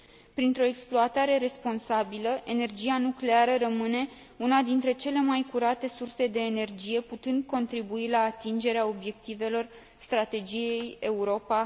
Printr o exploatare responsabilă, energia nucleară rămâne una dintre cele mai curate surse de energie, putând contribui la atingerea obiectivelor Strategiei Europa